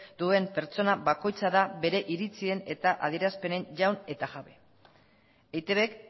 duen pertsona bakoitza da bere iritzien eta adierazpenen jaun eta jabe eitbk